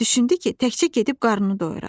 Düşündü ki, təkcə gedib qarnını doyurar.